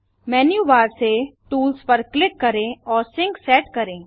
menu bar से tools पर click करें और सिंक सेट करें